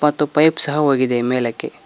ಮತ್ತು ಪೈಪ್ ಸಹ ಹೋಗಿದೆ ಮೇಲಕ್ಕೆ.